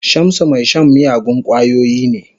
Shamsu mai shan miyagun kwayoyi ne.